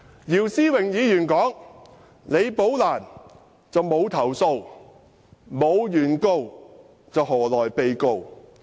姚思榮議員說，李寶蘭沒有投訴，沒有原告，又何來被告？